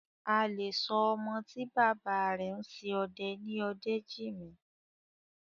A lè sọ ọmọ tí bàbá rẹ̀ ń ṣe ọdẹ ní Ọdẹ́jìmí.